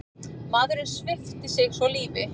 Maðurinn svipti sig svo lífi.